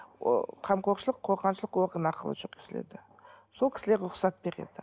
ы қамқоршылық қорғаншылық орган арқылы жүргізіледі сол кісілер рұқсат береді